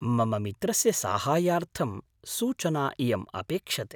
मम मित्रस्य साहाय्यार्थं सूचना इयम् अपेक्षते।